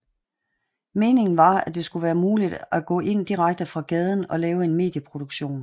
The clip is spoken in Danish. Meningen var at det skulle være muligt at gå ind direkte fra gaden og lave en medie produktion